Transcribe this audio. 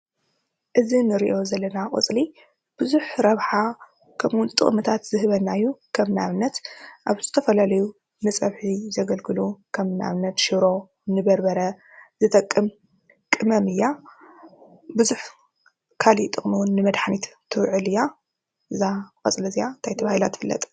እዚ ንሪኦ ዘለና ቆፅሊ ብዙሕ ረብሓ ከምኡ እውን ጥቅምታት ዝህበና እዩ። ከም ንኣብነት አብ ዝተፈላለዩ ንፀብሒ ዘገልግሉ ከም ንኣብነት ሽሮ፣ በርበረ ዝጠቅም ቅመም እያ። ብዙሕ ካሊእ ጥቕሚ እውን ንመድሓኒት ትውዕል እያ። እዛ ቆፅሊ እዚአ ታይ ተባሂላ ትፍለጥ?